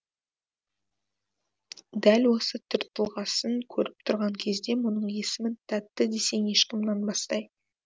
дәл осы түр тұлғасын көріп тұрған кезде мұның есімін тәтті десең ешкім нанбастай